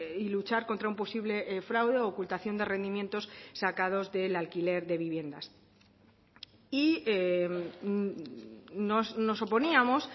y luchar contra un posible fraude ocultación de rendimientos sacados del alquiler de viviendas y nos oponíamos